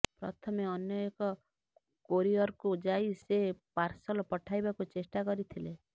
ପ୍ରଥମେ ଅନ୍ୟ ଏକ କୋରିଅର୍କୁ ଯାଇ ସେ ପାର୍ସଲ ପଠାଇବାକୁ ଚେଷ୍ଟା କରିଥିଲେ